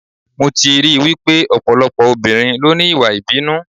Mo ti rí I wípé ọ̀pọ̀lọpọ̀ obìnrin ló ní Ìwà ìbínú.